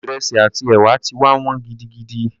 Ìrẹsì àti ẹ̀wà ti wá wọ́n gidigidi.